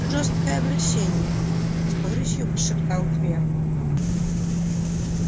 жёсткое обращение с горечью прошептал твер